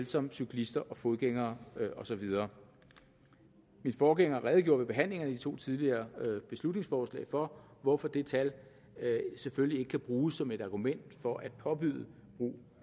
som cyklister og fodgængere og så videre min forgænger redegjorde ved behandlingerne af de to tidligere beslutningsforslag for hvorfor det tal selvfølgelig ikke kan bruges som et argument for at påbyde brug